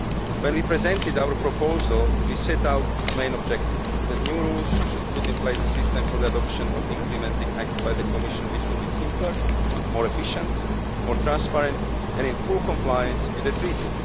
When we presented our proposal we set out its main objective that new rules should put in place a system for the adoption of implementing acts by the Commission which would be simpler, more efficient, and more transparent and in full compliance with the Treaty.